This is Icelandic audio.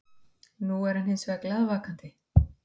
Nú var hann hinsvegar glaðvakandi.